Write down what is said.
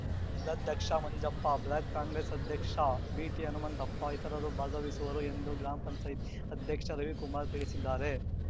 ಜಿಲ್ಲಾಧ್ಯಕ್ಷ ಮಂಜಪ್ಪ ಬ್ಲಾಕ್‌ ಕಾಂಗ್ರೆಸ್‌ ಅಧ್ಯಕ್ಷ ಬಿಟಿಹನುಮಂತಪ್ಪ ಇತರರು ಭಾಗವಹಿಸುವರು ಎಂದು ಗ್ರಾಮ ಪಂಚಾಯ್ತಿ ಅಧ್ಯಕ್ಷ ರವಿಕುಮಾರ್ ತಿಳಿಸಿದ್ದಾರೆ